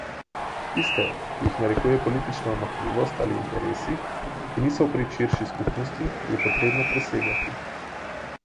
Tiste, ki jih narekuje politična omahljivost ali interesi, ki niso v prid širši skupnosti, je potrebno presegati.